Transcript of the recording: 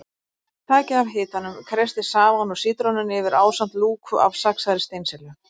Takið af hitanum, kreistið safann úr sítrónunni yfir ásamt lúku af saxaðri steinselju.